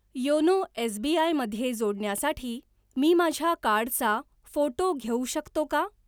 YONO SBI मध्ये जोडण्यासाठी मी माझ्या कार्डचा फोटो घेऊ शकतो का?